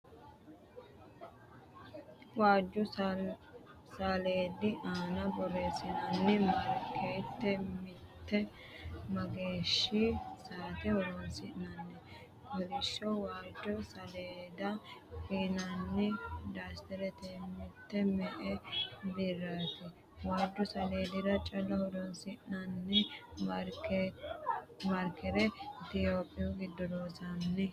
Waajju saleedi aana borressinanni marker mitte mageeshshi sa'ate horosiissanno ? Kollishsho waajjo saleeda fiinanni dasitere mitte me'e birraati ? Waajju saleedira calla horonsinanni maarkere itiyophiyu giddo loonsanni ?